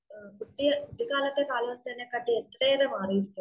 കുട്ടിയെ കുട്ടിക്കാലത്തെ കാലാവസ്ഥയെനേ ക്കാട്ടി എത്രയേറെ മാറിയിരിക്കുന്നു.